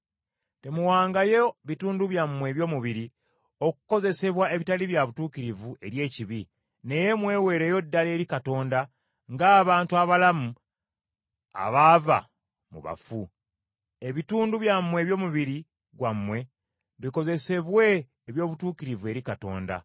Temuwangayo bitundu byammwe eby’omubiri okukozesebwa ebitali bya butuukirivu eri ekibi, naye mweweereyo ddala eri Katonda, ng’abantu abalamu abaava mu bafu. Ebitundu byammwe eby’omubiri gwammwe bikozesebwe eby’obutuukirivu eri Katonda.